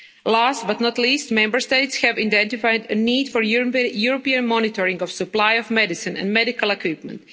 Last but not least, Member States have identified a need for European monitoring of the supply of medicines and medical equipment.